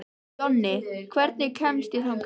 Jonni, hvernig kemst ég þangað?